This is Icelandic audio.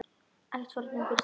Ekkert fordæmi er fyrir slíku.